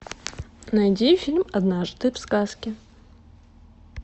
найди фильм однажды в сказке